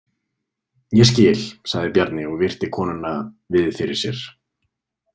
Ég skil, sagði Bjarni og virti konuna við fyrir sér.